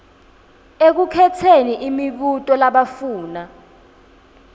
ekukhetseni imibuto labafuna